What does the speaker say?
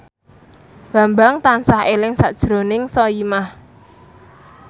Bambang tansah eling sakjroning Soimah